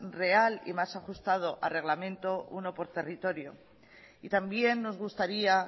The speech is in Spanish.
real y más ajustado a reglamento uno por territorio y también nos gustaría